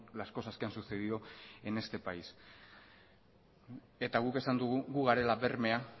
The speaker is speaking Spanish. las cosas que han sucedido en este país guk esan dugu gu garela bermea